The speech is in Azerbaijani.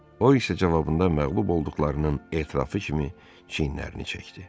O, eşidə cavabında məğlub olduqlarının etirafı kimi çiyinlərini çəkdi.